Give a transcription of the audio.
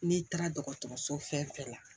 N'i taara dɔgɔtɔrɔso fɛn fɛn la